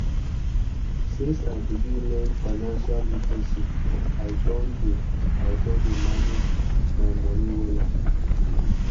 since i begin learn financial literacy i don dey i don dey manage my moni wella